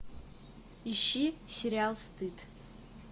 ищи сериал стыд